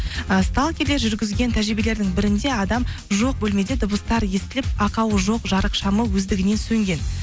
і жүргізген тәжірибелердің бірінде адам жоқ бөлмеде дыбыстар естіліп ақауы жоқ жарық шамы өздігінен сөнген